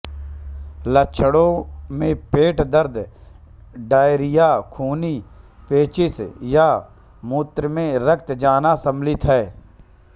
लक्षणों में पेट दर्द डायरिया खूनी पेचिश या मूत्रमें रक्त जाना शामिल है